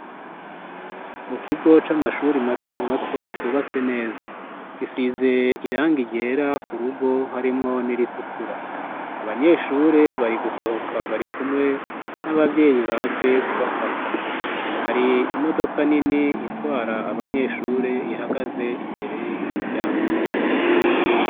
Mu kigo c'amashuri mato mato cubatse neza gisize irangi ryera ku rugo harimwo n'iritukura, Abanyeshure bari gusohoka bari kumwe n'abavyeyi baje kubafata. Hari imodoka nini itwara abanyeshure ihagaze imbere y'umuryango.